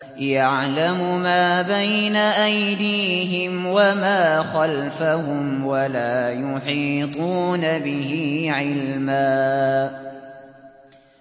يَعْلَمُ مَا بَيْنَ أَيْدِيهِمْ وَمَا خَلْفَهُمْ وَلَا يُحِيطُونَ بِهِ عِلْمًا